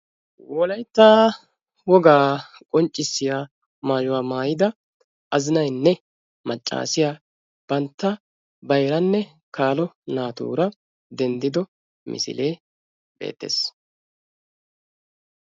Wolaytta wogaa qonccisiyaa maayuwaa maayida azinanynne maccasiyaa bantta bayranne kaalo naatura denddido misilee beettees.